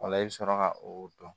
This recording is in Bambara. Ola i bɛ sɔrɔ ka o dɔn